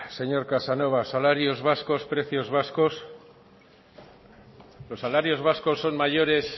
señor casanova salarios vascos precios vascos los salarios vascos son mayores